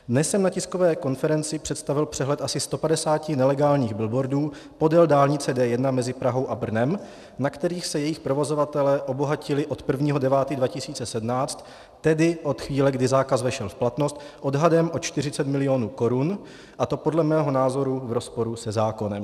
Dnes jsem na tiskové konferenci představil přehled asi 150 nelegálních billboardů podél dálnice D1 mezi Prahou a Brnem, na kterých se jejich provozovatelé obohatili od 1. 9. 2017, tedy od chvíle, kdy zákaz vešel v platnost, odhadem o 40 milionů korun, a to podle mého názoru v rozporu se zákonem.